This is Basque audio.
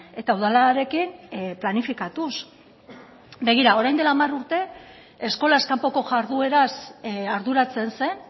eta udalarekin planifikatuz begira orain dela hamar urte eskolaz kanpoko jardueraz arduratzen zen